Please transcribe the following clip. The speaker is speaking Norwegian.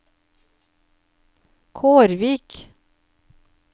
Kårvik